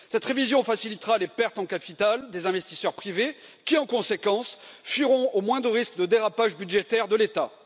Cette révision facilitera les pertes en capital des investisseurs privés, qui, en conséquence, fuiront au moindre risque de dérapage budgétaire de l'État.